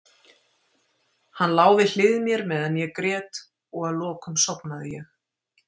Hann lá við hlið mér meðan ég grét og að lokum sofnaði ég.